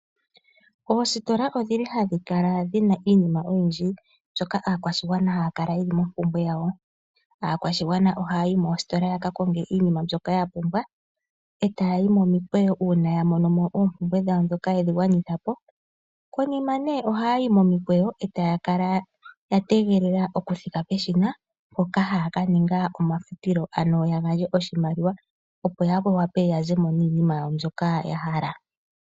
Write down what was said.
Oositola ohadhi kala dhi na iinima oyindji mbyoka aakwashigwana haya kala ye li mompumbwe yawo. Aakwashigwana ohaya yi moositola ya ka konge iinima mbyoka ya pumbwa e taya yi momikweyo uuna ya gwanitha po oompumbwe dhawo, e taya kala ya tegelela okuthika peshina mpoka haya ka ninga omafutilo, ano ya gandje oshimaliwa, opo ya wape ya ze mo niinima yawo mbyoka ya hala.